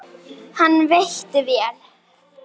Hann veitti vel